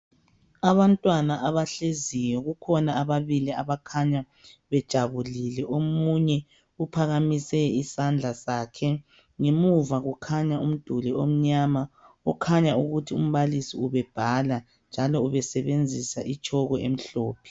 Abantwaba abahleziyo, kukhona ababilli abakhanya bejabulile. Omunye uphakamise isandla sakhe. Ngemuva kukhanya umduli omnyama, okutshengisa ukuthi umbalisi ubebhala, njalo ubesebenzisa itshoko emhlophe.